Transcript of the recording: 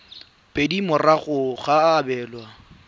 pedi morago ga go abelwa